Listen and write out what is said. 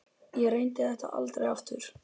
Ég reyndi þetta aldrei aftur.